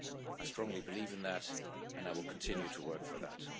I strongly believe in that, and I will continue to work for that.